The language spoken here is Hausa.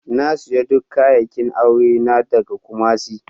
Na siya duk kayakin aure ta daga Kumasi.